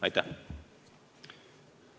Aitäh!